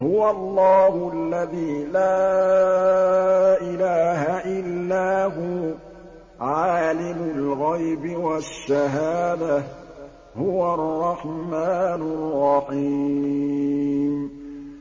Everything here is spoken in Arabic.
هُوَ اللَّهُ الَّذِي لَا إِلَٰهَ إِلَّا هُوَ ۖ عَالِمُ الْغَيْبِ وَالشَّهَادَةِ ۖ هُوَ الرَّحْمَٰنُ الرَّحِيمُ